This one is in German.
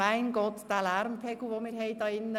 «Mein Gott, was für ein Lärmpegel hier im Saal.»